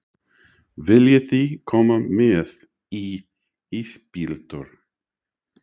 Viljiði koma með í ísbíltúr?